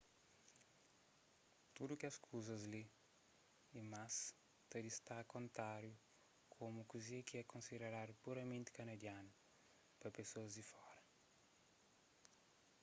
tudu es kuzas li y más ta distaka ontáriu komu kuze ki é konsideradu puramenti kanadianu pa pesoas di fora